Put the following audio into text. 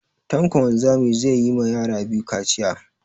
Tanko wanzami zai yi ma yara biyu kaciya